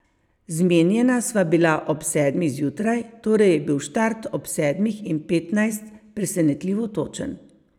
Zmenjena sva bila ob sedmih zjutraj, torej je bil štart ob sedmih in petnajst presenetljivo točen.